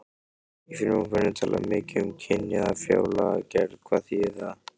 Í frumvarpinu er talað um kynjaða fjárlagagerð, hvað þýðir það?